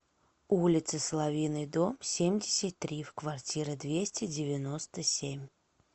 улицы соловьиной дом семьдесят три в квартира двести девяносто семь